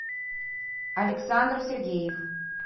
александр сергеев